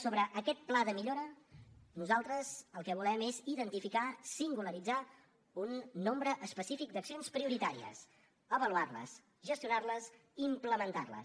sobre aquest pla de millora nosaltres el que volem és identificar singularitzar un nombre específic d’accions prioritàries avaluar les gestionar les i implementar les